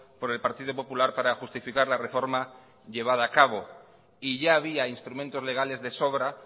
por el partido popular para justificar la reforma llevada a cabo y ya había instrumentos legales de sobra